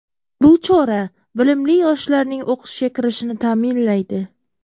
Bu chora bilimli yoshlarning o‘qishga kirishini ta’minlaydi.